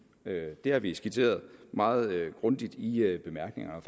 det har vi skitseret meget grundigt i i bemærkningerne og